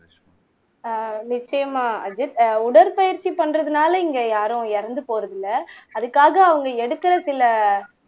ஆஹ் நிச்சயமா அஜித் ஆஹ் உடற்பயிற்சி பண்றதுனால இங்க யாரும் இறந்து போறதில்ல அதுக்காக அவங்க எடுக்கிற சில